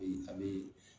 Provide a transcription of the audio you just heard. Ee a bee